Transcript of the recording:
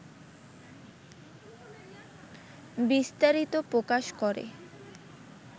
বিস্তারিত প্রকাশ করে